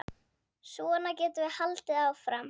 Svona getum við haldið áfram.